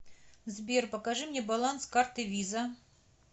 сбер покажи мне баланс карты виза